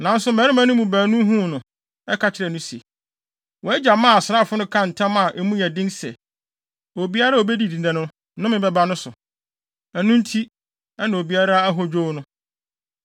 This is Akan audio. Nanso mmarima no mu baako huu no, ka kyerɛɛ no se, “Wʼagya maa asraafo no kaa ntam a emu yɛ den sɛ, obiara a obedidi nnɛ no, nnome bɛba ne so. Ɛno nti, na obiara ahodwow no.”